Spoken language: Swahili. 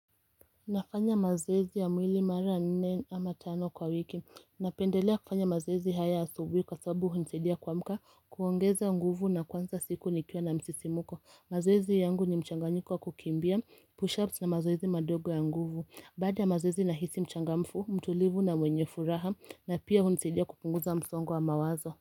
Nafanya mazoezi ya mwili mara nne ama tano kwa wiki, napendelea kufanya mazoezi haya asubuhi kwa sabu hunisaidia kuamka kuongeza nguvu na kwanza siku nikiwa na msisimuko, mazoezi yangu ni mchanganyiko wa kukimbia pushups na mazoezi madogo ya nguvu, baada ya mazoezi nahisi mchangamfu, mtulivu na mwenye furaha na pia hunisaidia kupunguza msongo wa mawazo.